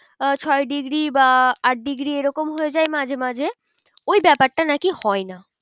আহ ছয় degree বা আট degree এরকম হয়ে যায় মাঝে মাঝে ওই ব্যাপারটা নাকি হয় না।